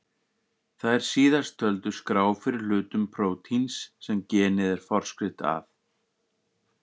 Þær síðast töldu skrá fyrir hlutum prótíns sem genið er forskrift að.